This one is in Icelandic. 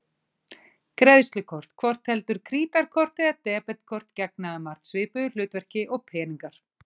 Greiðslukort, hvort heldur krítarkort eða debetkort, gegna um margt svipuðu hlutverki og peningar.